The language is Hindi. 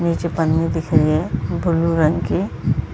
नीचे पन्नी दिख रही है ब्लू रंग की --